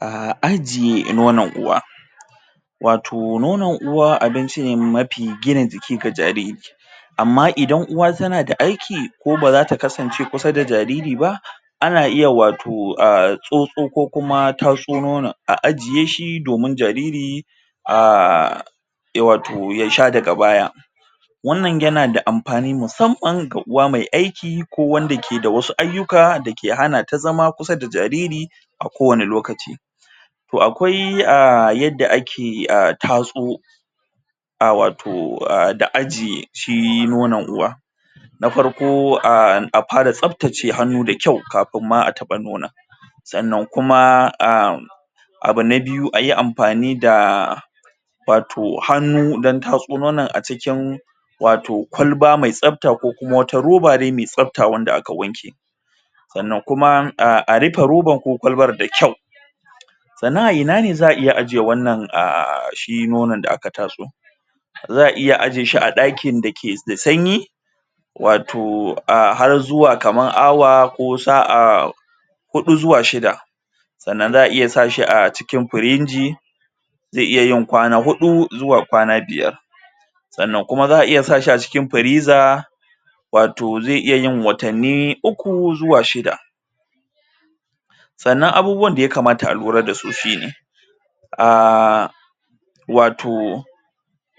A aji nonon uwa wato nonon uwa abinci ne mafi gina jiki ga jariri amma idan uwa tana da aiki ko bazata kasance kusa da jariri ana iya wato a tsotso ko kuma taso nonon a ajiye shi domin jariri um ya wato sha daga baya wannan yana da amfani ma musamman ga uwa mai aiki ko wanda ke wasu ayyuka da ke hanata zama kusa da jariri a ko wani lokaci akwai a yadda ake a taso a wato a ajiye shi nono uwa na farko an a fara tsaftace hannu da kyau kafin a taba nonon sannan kuma am abu na biyu ayi amfani da ruwa wato hannu taso nonon a cikin wato kwalba mai tsafta ko kuma roba ne mai tsafta sannan kuma a rufe roban ko kwalbar da kyau sannan a ina za a ajiye wannan a shi nonon da aka tatso za a iya ajiye shi a ɗakin da ke da sanyi wato a har zuwa kamar awa ko sa'a huɗu zuwa shida sannan za a iya sa shi a cikin firiji zai iya yin kwana huɗu zuwa kwana biyar sannan kuma za a iya sa shi a cikin firiza wato zai iya yin watanni uku zuwa shida sannan abubuwan da ya kamata a lura da su shine um wato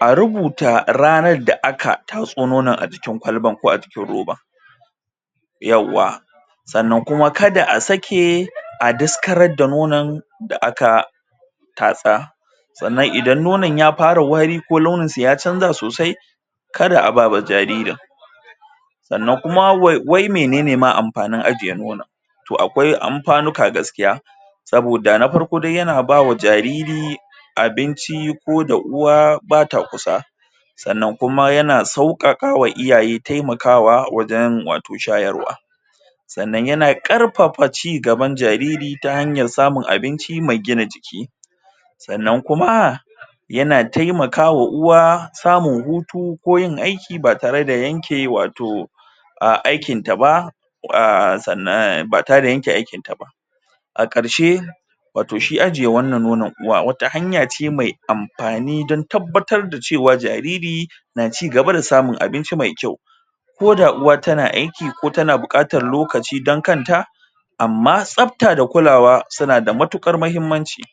a rubuta ranan da aka tatso nonon a jikin kwalbar ko a jikin robar yawwa sannan kuma kada a sake a daskarar da nonon da aka tatsa sannan idan nonon ya fara wari ko lunin sa ya chanza sosai ka a ba jaririn sannan kuma wai menene ma amfanin ajiye nonon to akwai amfanuka gaskiya saboda na farko dai yana ba ma jariri abin ko da uwa bata kusa sannan kuma yana sauƙaƙawa iyaye taimakawa wajen wato shayarwa sannan yana ƙarfafa cigaban jariri ta hanyar samun abinci mai gina jiki sannan kuma yana taimaka wa uwa samun hutu ko yin aiki ba tare da yanke wato a aikin ta ba a sannan ba tare da yanke aikin ta ba a ƙarshe wato shi wannan nonon uwa wata hanya ce mai amfani wajen tabbatar da cewa jariri na ci gaba da samun abinci mai kyau ko da uwa tana aiki ko tana bukatan lokaci don kanta amma tsafta da kulawa suna da matukar mahimmanci